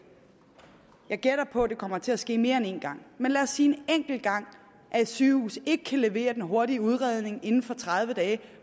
jeg gætter på det kommer til at ske mere end én gang men lad os sige en enkelt gang at et sygehus ikke kan levere den hurtige udredning inden for tredive dage